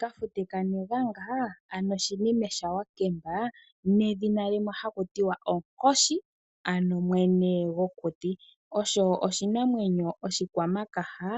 Kafute kanelanga ano shinime shawakemba nedhina limwe hakutiwa onkoshi ano mwene gokuti, osho oshinamwenyo oshikwamakaha,